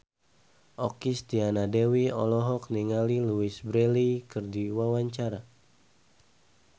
Okky Setiana Dewi olohok ningali Louise Brealey keur diwawancara